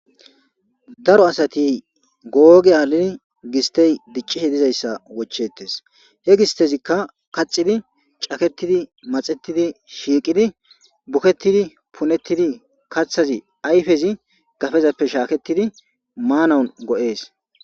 Daro asati googehalen gisttr diccishe dizayssa wochchetees.he gistezikka kaxxidi, caketidi,maxetidi,shiiqidi, buketidi, punetidi kaththazi ayfrzi gafezafr shaaketidi maanaw go7ees.